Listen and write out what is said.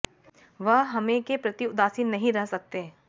वह हमें के प्रति उदासीन नहीं रह सकते